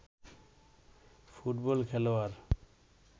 football খেলোয়াড়